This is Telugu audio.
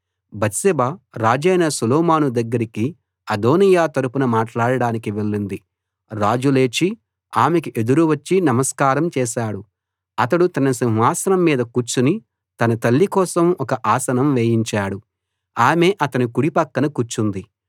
బత్షెబ రాజైన సొలొమోను దగ్గరకి అదోనీయా తరపున మాట్లాడటానికి వెళ్ళింది రాజు లేచి ఆమెకు ఎదురు వచ్చి నమస్కారం చేశాడు అతడు తన సింహాసనం మీద కూర్చుని తన తల్లి కోసం ఒక ఆసనం వేయించాడు ఆమె అతని కుడి పక్కన కూర్చుంది